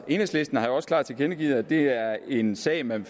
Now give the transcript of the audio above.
enhedslisten har jo også klart tilkendegivet at det er en sag man